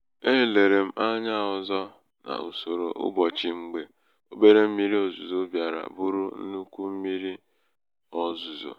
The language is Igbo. e lere m anya ọzọ n'usoro ụbọchị mgbe obere mmiri ozuzo bịara bụrụ nnukwu mmírí ozuzo.